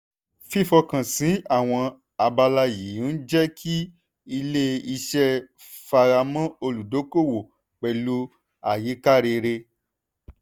fífọkànsìn àwọn abala yìí ń jẹ́ kí ilé-iṣẹ́ fámọ́ra olùdókòwò pẹ̀lú àyíká rere.